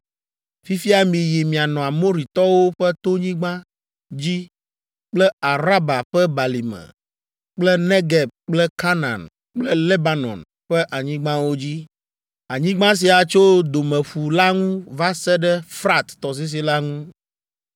Fifia miyi mianɔ Amoritɔwo ƒe tonyigba dzi kple Araba ƒe balime kple Negeb kple Kanaan kple Lebanon ƒe anyigbawo dzi. Anyigba sia tso Domeƒu la ŋu va se ɖe Frat tɔsisi la ŋu.